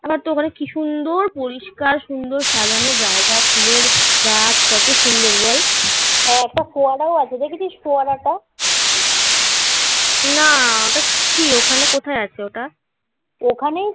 কি সুন্দর পরিষ্কার সুন্দর সাজানো জায়গা. ফুলের গাছ কত সুন্দর বল. হ্যাঁ একটা ফোয়ারা আছে. দেখেছিস ফোয়ারা টা না ওটা কি? ওখানে কোথায় আছে ওটা? ওখানেই ওটা